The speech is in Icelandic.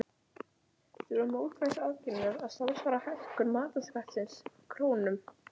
Þorbjörn: Þurfa mótvægisaðgerðirnar að samsvara hækkun matarskattsins í krónum?